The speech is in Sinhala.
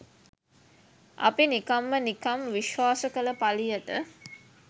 අපි නිකම්ම නිකම් විශ්වාස කළ පළියට